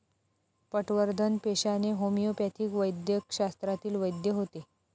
पटवर्धन पेशाने होमिओपॅथिक वैद्यकशास्त्रातील वैद्य होते.